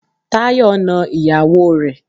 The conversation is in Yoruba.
Táyọ̀ na ìyàwó rẹ̀.